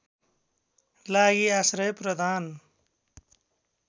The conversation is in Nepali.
लागि आश्रय प्रदान